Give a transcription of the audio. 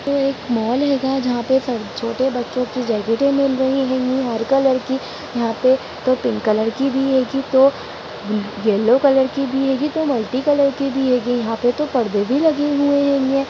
ये एक मोल हैंगा जहाँ पे छोटे बच्चों की जैकेटें मिल रही हैंगी हर कलर की | यहाँ पे तो पिंक कलर की भी हेगी तो येल्लो कलर की भी हेगी तो मल्टी कलर की भी हैंगी यहाँ पे तो परदे भी लगी हुए हैंगे।